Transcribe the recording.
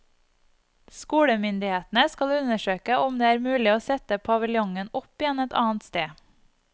Skolemyndighetene skal undersøke om det er mulig å sette paviljongen opp igjen et annet sted.